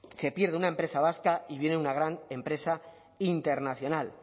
se pierde una empresa vasca y viene una gran empresa internacional